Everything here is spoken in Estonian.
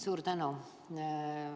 Suur tänu!